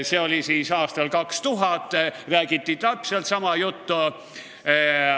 See oli aastal 2000, siis räägiti täpselt sama juttu.